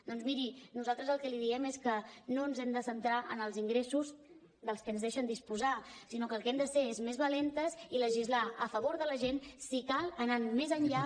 doncs miri nosaltres el que li diem és que no ens hem de centrar en els ingressos dels que ens deixen disposar sinó que el que hem de ser és més valentes i legislar a favor de la gent si cal anant més enllà